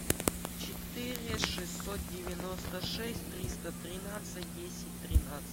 четыре шестьсот девяносто шесть триста тринадцать десять тринадцать